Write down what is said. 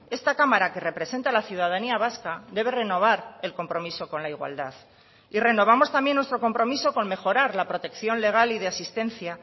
esta cámara que representa a la ciudadanía vasca debe renovar el compromiso con la igualdad y renovamos también nuestro compromiso con mejorar la protección legal y de asistencia